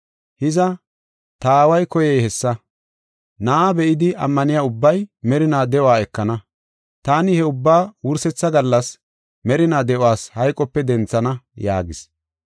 Hiza, ta Aaway koyey hessa: Na7aa be7idi ammaniya ubbay merinaa de7uwa ekana; taani he ubbaa wursetha gallas merinaa de7os hayqope denthana” yaagis.